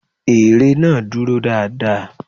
Ère náà dúró dáa dáa.